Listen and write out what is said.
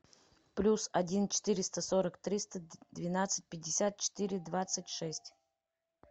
плюс один четыреста сорок триста двенадцать пятьдесят четыре двадцать шесть